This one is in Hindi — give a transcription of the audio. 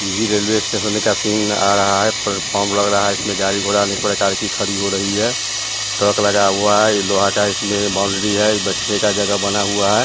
ये भी रेलवे स्टेशन का सीन आ रहा है प्लेटफार्म लग रहा है इसमें गाड़ी-घोड़ा अनेक प्रकार की खड़ी हो रही है ट्रक लगा हुआ है यह लोहा का है इसमें बाउंड्री है यह बैठने का जगह बना हुआ है।